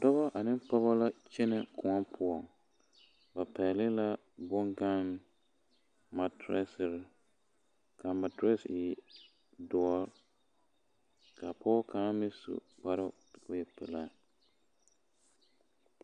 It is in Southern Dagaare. Dɔbɔ ane pɔgɔ la kyɛnɛ kõɔ poɔŋ ba pɛgle la boŋganne maatirisiri ka maatirisi e doɔ ka pɔge kaŋa meŋ su kpare k'o e pelaa.